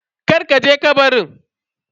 Kar ka je kabarin.